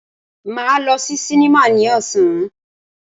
Máa lọ sí sinimá ní ọ̀sán.